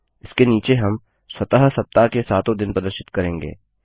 इसके नीचे हम स्वतः सप्ताह के सातों दिन प्रदर्शित करेंगे